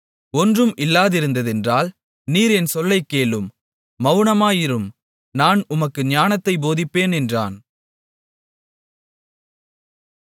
ஒன்றும் இல்லாதிருந்ததென்றால் நீர் என் சொல்லைக் கேளும் மவுனமாயிரும் நான் உமக்கு ஞானத்தைப் போதிப்பேன் என்றான்